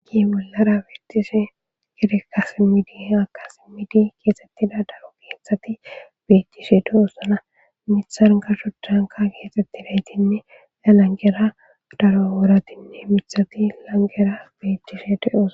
Agi bollara bettishe gedekasimidi akasimidi keesettida daro geethati bettishe deosana mithan garsho danka keexetti daytinne lalangera daro wooratinne mithati langera bettishe de'os.